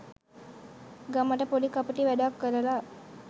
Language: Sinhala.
ගමට පොඩි කපටි වැඩක් කරලා